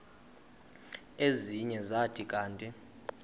ezinye zathi kanti